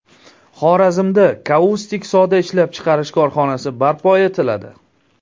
Xorazmda kaustik soda ishlab chiqarish korxonasi barpo etiladi.